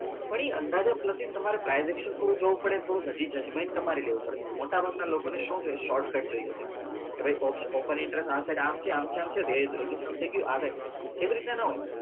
થોડી અંદાજા પ્રતિ તમારે privation પૂરું job થોડું હજી judgement તમારે લેવું પડે મોટા લોકો શું જોઈએ શે short cut જોઈએ છે કે ભાઈ ઓપ open interest આ છે આમ છે આમ છે થઇ ગયું રેગીસ્તાન થઇ ગયું આ side એવી રીત ના ના હોય